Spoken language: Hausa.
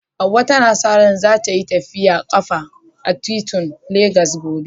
Hawwa tana sa ran za tai tafiyar kafa a titunan Legas gobe.